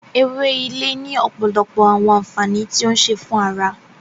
Ewé Ilé ni ọpọlọpọ awọn ànfàní ti o ń ṣe fún ará